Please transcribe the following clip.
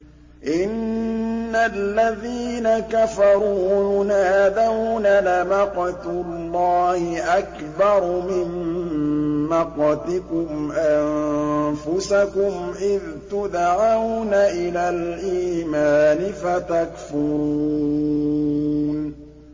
إِنَّ الَّذِينَ كَفَرُوا يُنَادَوْنَ لَمَقْتُ اللَّهِ أَكْبَرُ مِن مَّقْتِكُمْ أَنفُسَكُمْ إِذْ تُدْعَوْنَ إِلَى الْإِيمَانِ فَتَكْفُرُونَ